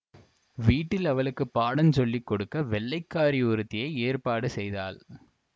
வீட்டில் அவளுக்கு பாடஞ் சொல்லி கொடுக்க வெள்ளைக்காரி ஒருத்தியை ஏற்பாடு செய்தாள்